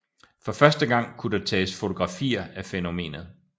For første gang kunne der tages fotografier af fænomenet